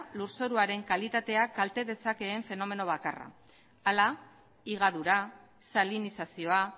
lurzoruaren kalitatea kalte dezakeen fenomeno bakarra hala higadura salinizazioa